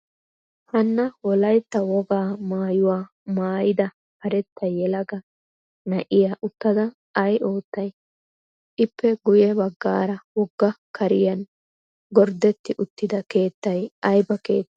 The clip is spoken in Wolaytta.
Hanna wolayitta wogaa maayyuwaa maayyida karetta yelaga na''iyaa uttada ay oottay? Ippe guyye baggaara wogga kariyan gorddetti uttida keettay ayiba keette?